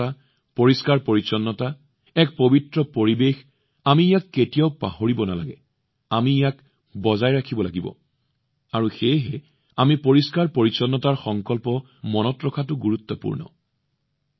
সুচিতা পৰিষ্কাৰপৰিচ্ছন্নতা এক পবিত্ৰ পৰিৱেশ আমি ইয়াক কেতিয়াও পাহৰিব নালাগে আমি ইয়াক বৰ্তাই ৰাখিব লাগিব আৰু সেয়েহে আমি পৰিষ্কাৰ পৰিচ্ছন্নতাৰ সংকল্প মনত ৰখাটো গুৰুত্বপূৰ্ণ